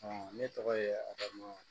ne tɔgɔ ye adama